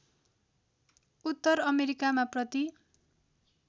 उत्तर अमेरिकामा प्रति